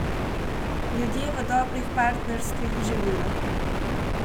Ljudje v dobrih partnerstvih živijo.